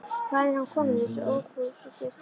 Hvaðan er hann kominn, þessi ófúsugestur?